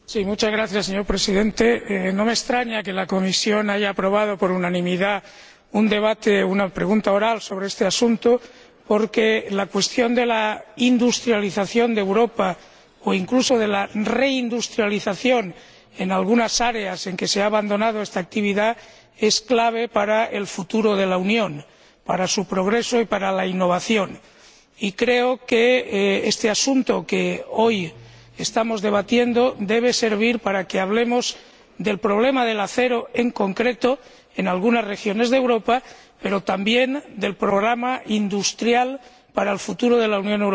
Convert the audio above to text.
Señor Presidente, no me extraña que la Comisión de Industria, Investigación y Energía haya aprobado por unanimidad una pregunta oral con debate sobre este asunto, porque la cuestión de la industrialización de Europa, o incluso de la reindustrialización en algunas áreas en que se ha abandonado esta actividad, es clave para el futuro de la Unión, para su progreso y para la innovación. Creo que este asunto que vamos a debatir debe servir para que hablemos del problema del acero, en concreto, en algunas regiones de Europa, pero también del programa industrial para el futuro de la Unión Europea.